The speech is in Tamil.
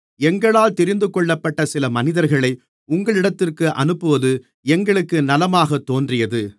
எங்களால் தெரிந்துகொள்ளப்பட்ட சில மனிதர்களை உங்களிடத்திற்கு அனுப்புவது எங்களுக்கு நலமாகத் தோன்றியது